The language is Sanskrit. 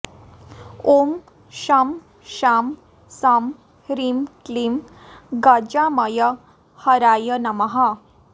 ॐ शं शां षं ह्रीं क्लीं गजामयहराय नमः